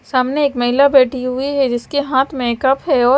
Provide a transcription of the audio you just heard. सामने एक महिला बैठी हुई है जिसके हाथ मे कप है और--